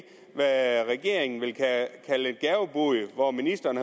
regeringen vil og hvor ministeren